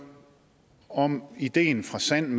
om ideen fra sand